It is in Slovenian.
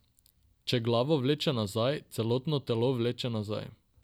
Če glavo vleče nazaj, celotno telo vleče nazaj.